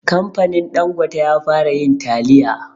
Kamfanin ɗangote ya fara yin taliya